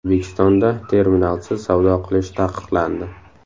O‘zbekistonda terminalsiz savdo qilish taqiqlandi.